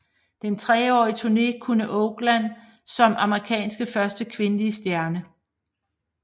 Denne treårige turné kun Oakley som Amerikas første kvindelige stjerne